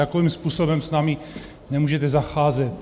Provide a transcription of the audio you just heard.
Takovým způsobem s námi nemůžete zacházet.